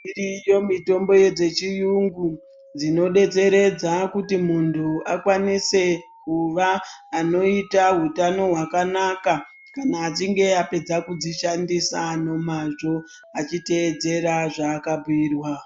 Iriyo mitombo dzechiyungu dzinodetseredza kuti muntu akwanise kuva anoita hutano hwakanaka kana achinge apedza kudzishandisa nemazvo achiteedzera zvaakabhiirwa.